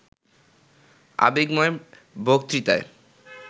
আবেগময় বক্তৃতায়